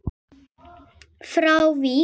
frá Vík.